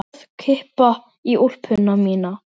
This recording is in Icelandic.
Hörð kippa í úlpuna mína.